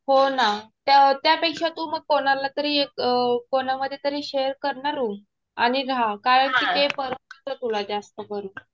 हो ना. त्या त्यापेक्षा तू मग कोणाला तरी एक अ कोणामध्ये तरी शेअर करना रुम आणि राहा. कारण कि ते परवडतं तुला जास्त करून.